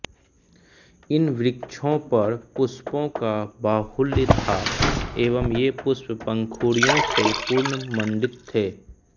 इन वृक्षों पर पुष्पों का बाहुल्य था एवं ये पुष्प पंखुडियों से पूर्ण मण्डित थे